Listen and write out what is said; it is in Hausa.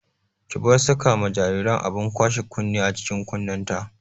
Ki bar saka ma jinjiran abin kwashe kunne a cikin kunnenta!